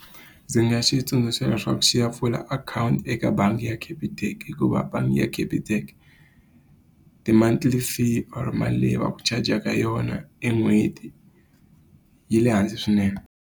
Ndzi nga xi tsundzuxa leswaku xi ya pfula akhawunti eka bangi ya Capitec. Hikuva bangi ya Capitec, ti-moonthly fee or mali leyi va ku charge-ka yona e n'hweti yi le hansi swinene.